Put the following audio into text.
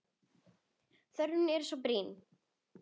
Þörfin er svo brýn.